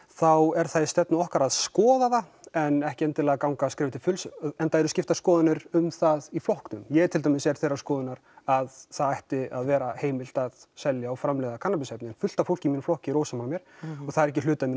þá er það í stefnu okkar að skoða það en ekki endilega að ganga skrefið til fulls enda eru skiptar skoðanir um það í flokknum ég er til dæmis þeirrar skoðunar að það ætti að vera heimilt að selja og framleiða kannabisefni en fullt af fólki í flokknum er ósammála mér og það er ekki hluti af